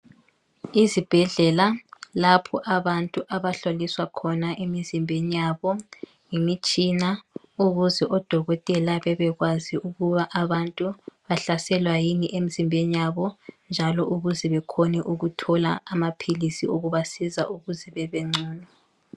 Izibhedlela lapho abantu abahloliswa khona emizimbeni yabo ngemitshina ukuze odokotela bebekwazi ukuba abantu bahlaselwa yini emzimbeni yabo njalo ukuze bekhone ukuthola amaphilisi okubasiza ukuze bebengcono.